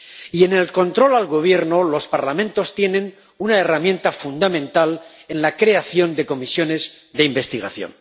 Y en el control al gobierno los parlamentos tienen una herramienta fundamental en la creación de comisiones de investigación.